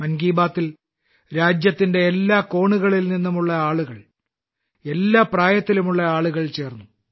മൻ കി ബാത്തിൽ രാജ്യത്തിന്റെ എല്ലാ കോണുകളിൽ നിന്നുമുള്ള ആളുകൾ എല്ലാ പ്രായത്തിലുമുള്ള ആളുകൾ ചേർന്നു